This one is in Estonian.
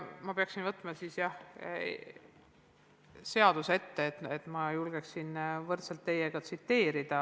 Ma peaksin võtma siis seaduse ette, et ma julgeksin teiega võrdselt paragrahve tsiteerida.